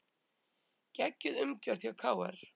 Geggjuð umgjörð hjá KR